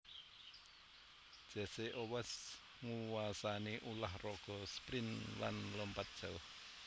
Jesse Owens nguwasani ulah raga sprint lan lompat jauh